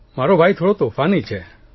મારો ભાઇ થોડો તોફાની છે